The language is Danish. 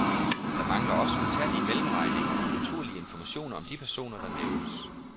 Der mangler også utallige mellemregninger og naturlige informationer om de personer, der nævnes.